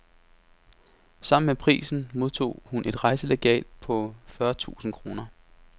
Sammen med prisen modtog hun et rejselegat på fyrre tusind kroner.